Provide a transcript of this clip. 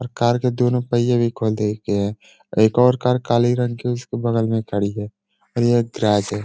और कार के दोनों पहिये भी खोल दिए गए हैं। एक और कार काली रंग की उसके बगल में खड़ी है और ये एक गैराज है।